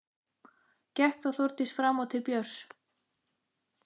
Gekk þá Þórdís fram og til Björns.